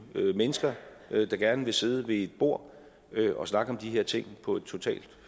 mennesker der gerne vil sidde ved et bord og snakke om de her ting på et